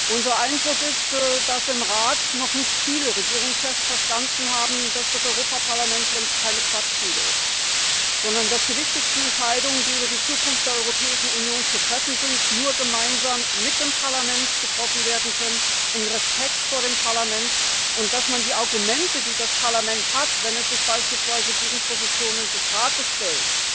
Unser Eindruck ist, dass im Rat noch nicht viele Regierungschefs verstanden haben, dass das Europäische Parlament keine Quatschbude ist, sondern dass die wichtigsten Entscheidungen, die über die Zukunft der Europäischen Union zu treffen sind, nur gemeinsam mit dem Parlament getroffen werden können, in Respekt vor dem Parlament, und dass die Argumente, die das Parlament hat, wenn es sich beispielsweise gegen Positionen des Rates stellt